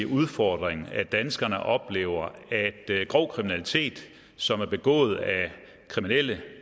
udfordring at danskerne oplever at grov kriminalitet som er begået af kriminelle